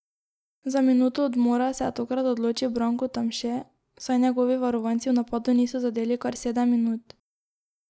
Za minuto odmora se je tokrat odločil Branko Tamše, saj njegovi varovanci v napadu niso zadeli kar sedem minut.